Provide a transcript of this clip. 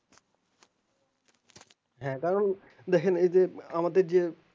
হ্যাঁ কারণ দেখেন এই যে আমাদের যে